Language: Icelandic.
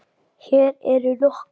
Hér eru nokkur